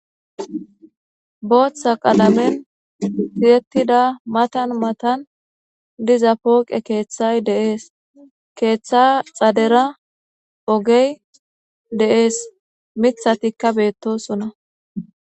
Booththa qalamen tiyettida matan matan diza pooqe keeththay dee7ees. Keeththa xadera ogey de7ees. Mithatikka beettosona.